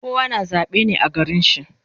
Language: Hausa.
Kowa na zabe ne a garin shi